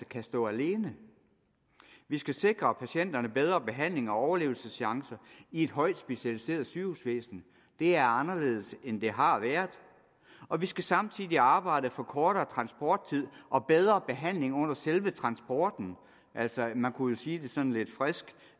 kan stå alene vi skal sikre patienterne bedre behandling og overlevelseschancer i et højt specialiseret sygehusvæsen det er anderledes end det har været og vi skal samtidig arbejde for kortere transporttid og bedre behandling under selve transporten altså man kunne jo sige det sådan lidt frisk